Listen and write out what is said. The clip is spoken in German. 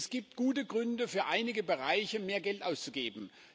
Es gibt gute Gründe, für einige Bereiche mehr Geld auszugeben.